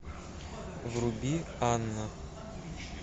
вруби анна